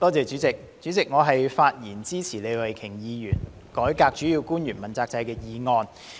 主席，我發言支持李慧琼議員提出的"改革主要官員問責制"議案。